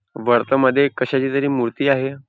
वर्तमध्ये कशाची तरी मूर्ती आहे.